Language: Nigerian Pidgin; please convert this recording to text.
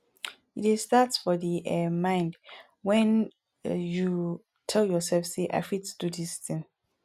e dey start for di um mind when um you tell your self sey i fit do this thing